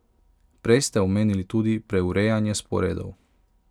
Prej ste omenili tudi preurejanje sporedov.